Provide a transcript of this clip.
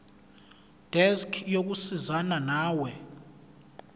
desk yokusizana nawe